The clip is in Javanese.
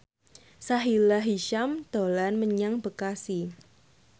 Sahila Hisyam dolan menyang Bekasi